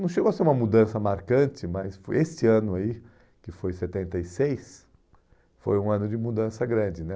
Não chegou a ser uma mudança marcante, mas esse ano aí, que foi setenta e seis, foi um ano de mudança grande, né?